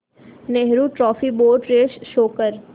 Nehru trophy boat race show कर